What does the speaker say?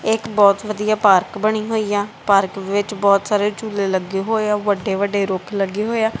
ਏਕ ਬਹੁਤ ਵਧੀਆ ਪਾਰਕ ਬਨੀ ਹੋਈ ਆ ਪਾਰਕ ਵਿੱਚ ਬਹੁਤ ਸਾਰੇ ਝੂਲੇ ਲੱਗੇ ਹੋਏ ਆ ਵੱਡੇ ਵੱਡੇ ਰੁੱਖ ਲੱਗੇ ਹੋਏ ਆ।